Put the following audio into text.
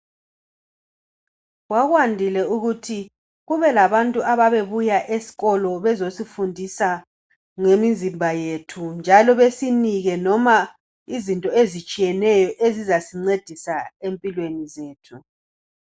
Kwakwandile ukuthi kubelabantu ababebuya esikolo bezosifundisa ngemizimba yethu njalo basinike izinto ezitshiyeneyo ezizasincedisa empilweni zethu.